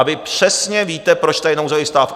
A vy přesně víte, proč tady je nouzový stav.